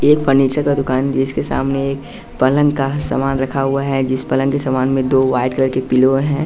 एक फर्नीचर का दुकान जिसके सामने पलंग का सामान रखा हुआ है जिस पलंग के समान में दो वाइट कलर के पिलो हैं।